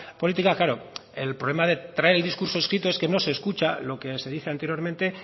política claro el problema de traer el discurso escrito es que no se escucha lo que se dice anteriormente